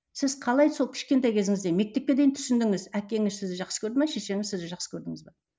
сіз қалай сол кішкентай кезіңізден мектепке дейін түсіндіңіз әкеңіз сізді жақсы көрді ме шешеңіз сізді жақсы көрдіңіз бе